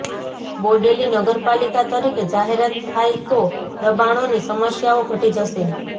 બોડેલી નગરપાલિકા તરીકે જાહેરાત થાય તો દબાણોની સમસ્યાઓ ઘટી જશે